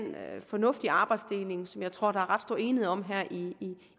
fornuftige arbejdsdeling som jeg tror at der er ret stor enighed om her i